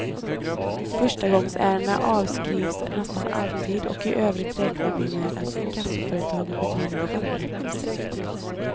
Förstagångsärenden avskrivs nästan alltid och i övrigt räknar vi med att inkassoföretagen bedriver självrättelse.